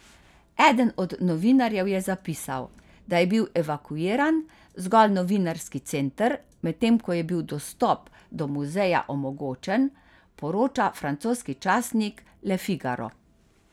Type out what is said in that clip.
Eden od novinarjev je zapisal, da je bil evakuiran zgolj novinarski center, medtem ko je bil dostop do muzeja omogočen, poroča francoski časnik Le Figaro.